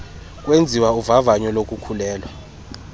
kwenziwa uvavanyo lokukhulelwa